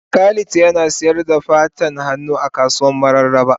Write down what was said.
Khalid Yana sayar da tafan hannu a kasuwan mararaba.